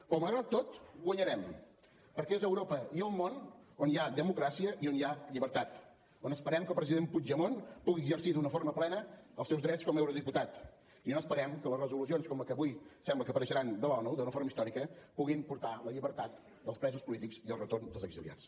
però malgrat tot guanyarem perquè és a europa i al món on hi ha democràcia i on hi ha llibertat on esperem que el president puigdemont pugui exercir d’una forma plena els seus drets com a eurodiputat i on esperem que les resolucions com la que avui sembla que apareixerà de l’onu d’una forma històrica puguin portar la llibertat dels presos polítics i el retorn dels exiliats